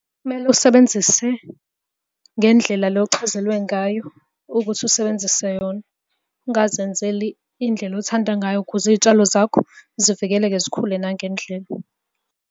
Kumele usebenzise ngendlela le ochazelwe ngayo ukuthi usebenzise yona. Ungazenzeli indlela othanda ngayo ukuze iy'tshalo zakho zivikeleke zikhule nangendlela.